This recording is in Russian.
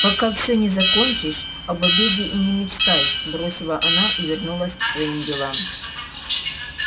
пока всё не закончишь об обеде и не мечтай бросила она и вернулась к своим делам